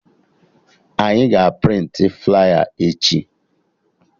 Anyị ga a prịntị flaya echi